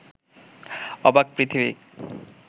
অবাক পৃথিবী